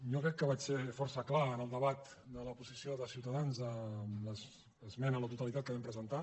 jo crec que vaig ser força clar en el debat de la posició de ciutadans amb l’esmena a la totalitat que hi vam presentar